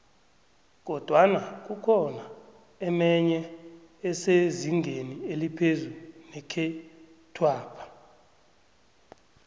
kodwana kukhona emenye esezingeni eliphezu nekhethwapha